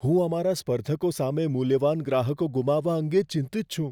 હું અમારા સ્પર્ધકો સામે મૂલ્યવાન ગ્રાહકો ગુમાવવા અંગે ચિંતિત છું.